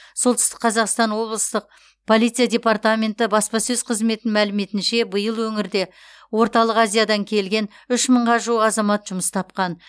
солтүстік қазақстан облыстық полиция департаменті баспасөз қызметінің мәліметінше биыл өңірде орталық азиядан келген үш мыңға жуық азамат жұмыс тапқан